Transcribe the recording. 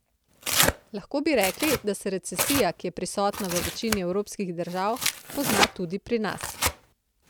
Lahko bi rekli, da se recesija, ki je prisotna v večini evropskih držav, pozna tudi pri nas.